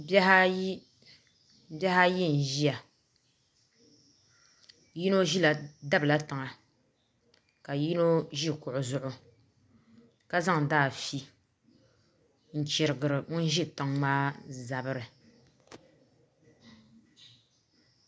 Bihi ayi n ʒiya yino dabila tiŋa ka yino ʒi kuɣu zuɣu ka zaŋdi afi n chirigiri ŋun ʒi tiŋ maa zabiri